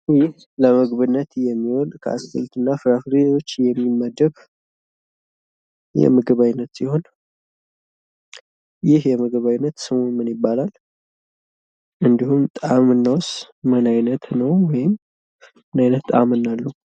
ይህ ለምግብነት የሚውል ከአትክልትና ፍራፍሬዎች የሚመደብ የምግብ አይነት ሲሆን ይህ የምግብ አይነት ስሙ ምን ይባላል? እንድሁም ጣምናውስ ምን አይነት ነው? ወይም ምን አይነት ጣምና አለው?